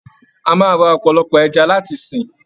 A máa ra ọ̀pọ̀lọpọ̀ ẹja láti sìn.